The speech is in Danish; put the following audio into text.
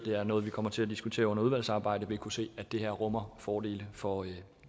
det er noget vi kommer til at diskutere under udvalgsarbejdet vil kunne se at det her rummer fordele fordele